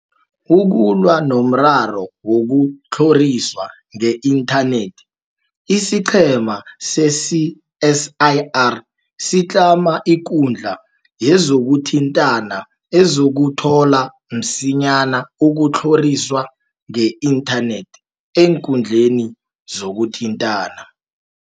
Ukulwa nomraro wokutlho riswa nge-inthanethi, isiqhema se-CSIR sitlama ikundla yezokuthintana ezokuthola msinyana ukutlhoriswa ngeinthanethi eenkundleni zo kuthintana.